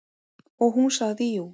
Og hún sagði jú.